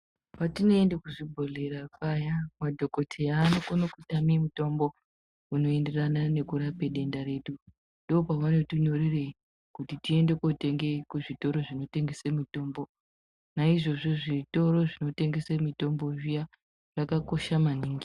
Patinoende kuzvibhedhlera paya, madhokoteya anokone kutama mutombo unoenderana nekurapa denda redu. Ndoopavanotinyorere kuti tiende kotenge kuzvitoro zvinotengesa mitombo .Naizvozvo zvitoro zvinotengesa mitombo zviya zvakakosha maningi.